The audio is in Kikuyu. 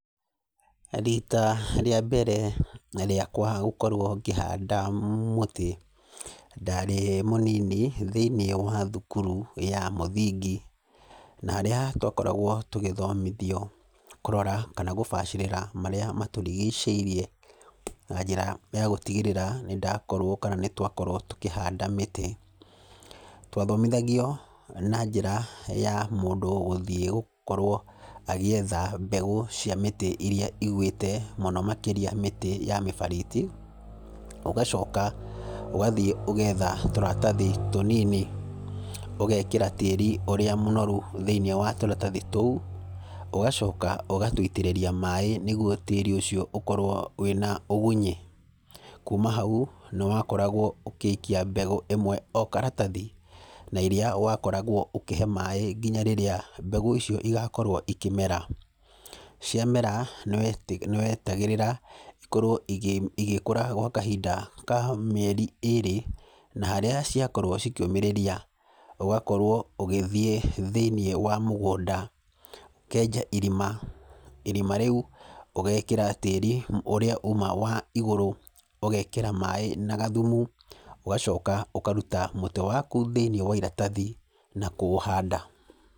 Rita, rĩambere rĩakwa gũkorwo ngĩhanda mũtĩ, ndarĩ mũnini thĩinĩ wa thukuru ya mũthingi, na harĩa twakoragwo tũgĩthomithio, kũrora kana gũbacĩrĩra marĩa matũrigĩcĩirie, na njĩra ya gũtigĩrĩra nĩndakorwo kana nĩtwakorwo tũkĩhanda mĩtĩ. Twathomithagio na njĩra ya mũndũ gũthiĩ gũkorwo agĩetha mbegũ cia mĩtĩ irĩa ĩgwĩte mũno makĩria mĩtĩ ya mĩbariti, ũgacoka ũgathiĩ ũgetha tũratathi tũnini, ũgekĩra tĩĩri ũrĩa mũnoru thĩinĩ wa tũratathi tũu, ũgacoka ũgatũitĩrĩria maĩĩ nĩguo tĩĩri ũcio ũkorwo wĩna ũgunyi. Kũũma hau nĩwakoragwo ũgĩikia mbegũ ĩmwe o karatathi na iria wakoragwo ũkĩhe maĩĩ nginya rĩrĩa mbegũ icio cigakorwo ikĩmera. Ciamera nĩweta nĩwetagĩrĩra ĩkorwo ĩgĩ ĩgĩkũra gwa kahinda ka mĩeri ĩrĩ na harĩa ciakorwo cikiũmĩrĩria, ũgakorwo ũgĩthiĩ thĩinĩ wa mũgũnda, ũkenja irima, irima rĩũ ũgekĩra tĩri ũrĩa uma wa igũrũ, ũgekĩra maĩĩ na gathumu, ũgacoka ũkaruta mũtĩ waku thĩini wa iratathi na kũũhanda.